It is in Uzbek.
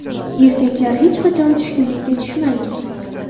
Erkaklar, hech qachon tushkunlikka tushmang!